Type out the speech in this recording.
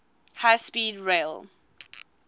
high speed rail